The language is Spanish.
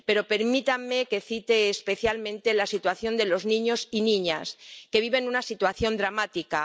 Pero permítanme que cite especialmente la situación de los niños y niñas, que viven una situación dramática.